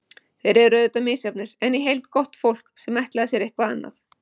Þeir eru auðvitað misjafnir, en í heild gott fólk, sem ætlaði sér eitthvað annað.